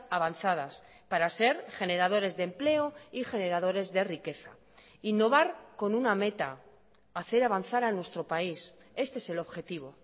avanzadas para ser generadores de empleo y generadores de riqueza innovar con una meta hacer avanzar a nuestro país este es el objetivo